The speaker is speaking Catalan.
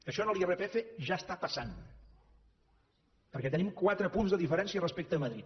això a l’irpf ja està passant perquè tenim quatre punts de diferència respecte a madrid